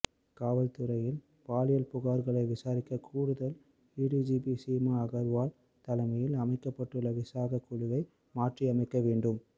காவல் துறையில் பாலியல் புகார்களை விசாரிக்க கூடுதல் ஏடிஜிபி சீமா அகர்வால் தலைமையில் அமைக்கப்பட்டுள்ள விசாகா குழுவை மாற்றியமைக்க வேண்டும்